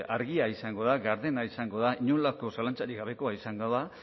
argia izango da gardena izango da inolako zalantzarik gabekoa izango da